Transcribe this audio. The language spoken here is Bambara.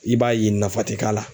I b'a ye nafa tɛ k'a la.